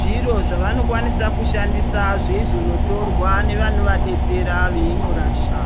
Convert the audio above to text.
zviro zvavanokwanisa kushandisa zveizonotorwa nevanovadetsera veinorasha.